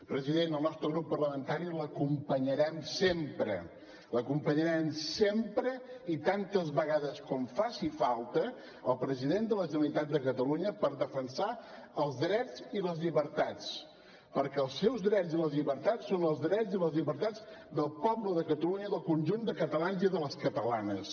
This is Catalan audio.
president el nostre grup parlamentari l’acompanyarem sempre acompanyarem sempre i tantes vegades com faci falta el president de la generalitat de catalunya per defensar els drets i les llibertats perquè els seus drets i les llibertats són els drets i les llibertats del poble de catalunya del conjunt de catalans i de les catalanes